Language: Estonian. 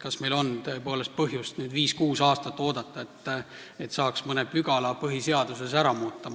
Kas meil on tõepoolest põhjust viis-kuus aastat oodata, et saaks mõne pügala põhiseaduses ära muuta?